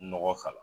Nɔgɔ k'a la